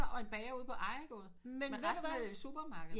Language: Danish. Og en bager ude på ejergåde resten er jo i supermarked